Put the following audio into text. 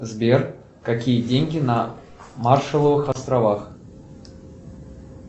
сбер какие деньги на маршаловых островах